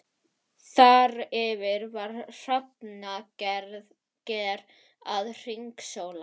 Þar yfir var hrafnager að hringsóla.